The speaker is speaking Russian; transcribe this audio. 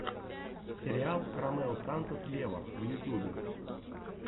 сериал ромео сантос вево в ютюбе